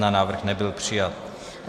Návrh nebyl přijat.